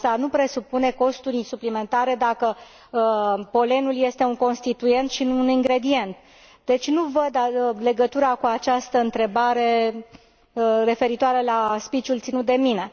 Asta nu presupune costuri suplimentare, dacă polenul este un constituent, și nu un ingredient. Deci nu văd legătura cu această întrebare referitoare la speech ul ținut de mine.